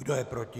Kdo je proti?